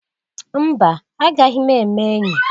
Mba! Agaghi m eme enyi.